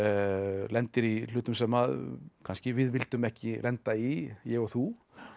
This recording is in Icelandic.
lendir í hlutum sem kannski við vildum ekki lenda í ég og þú